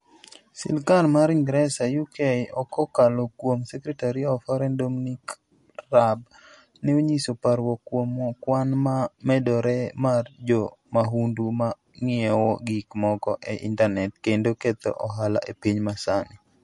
Sirkal mar Ingresa (UK) kokalo kuom Secretary of Foreign Dominic Raab, ne onyiso parruok kuom kwan ma medore mar jo mahundu ma ng'iewo gik moko e intanet kendo ketho ohala e piny masani.